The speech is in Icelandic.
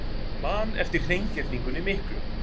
Man eftir hreingerningunni miklu.